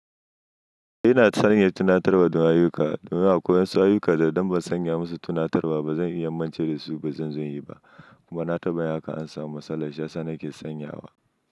Eh ina sanya tunatarwa don ayyuka domin akwai wasu ayyuka da idan ban sanya musu tunatarwa ba zan iya mance da su. Ba zan zo inyi ba kuma na taɓa yin haka an samu matsala. Shiyasa nake sanyawa.